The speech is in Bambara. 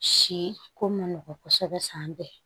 Si ko ma nɔgɔn kosɛbɛ san bɛɛ